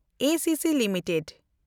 ACC limited